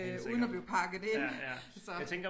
Øh uden at blive pakket ind så